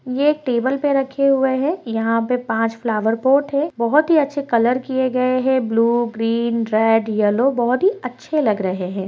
ये टेबल पे रखे हुए हैं | यहाँ पे पाँच फ्लावर पोट हैं | बहुत ही अच्छे कलर किये गए हैं | ब्लू ग्रीन रेड येलो बहुत ही अच्छे लग रहे हैं |